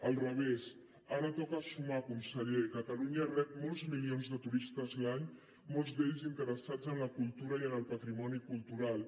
al revés ara toca sumar conseller catalunya rep molts milions de turistes l’any molts d’ells interessats en la cultura i en el patrimoni cultural